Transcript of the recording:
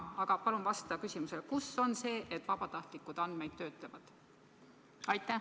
Aga palun vasta mu küsimusele: kus on öeldud, et vabatahtlikud andmeid töötlevad?